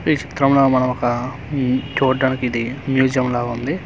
ఈ చిత్రం లో మనం ఒకా ఉమ్ చూడ్డానికి ఇది మ్యుజియం లా ఉంది.